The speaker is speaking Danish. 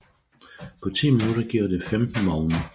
På ti minutter giver det 15 vogne